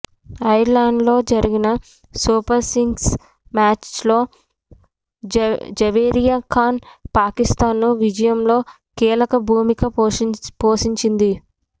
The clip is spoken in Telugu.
ఐర్లాండ్తో జరిగిన సూపర్ సిక్స్ మ్యాచ్లో జవేరియా ఖాన్ పాకిస్తాన్ను విజయంలో కీలక భూమిక పోషించింది